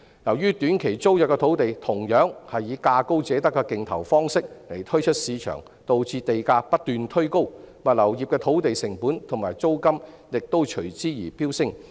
由於短期租約土地同樣是以價高者得的競投方式推出市場，導致地價不斷推高，物流業的土地成本及租金亦隨之飆升。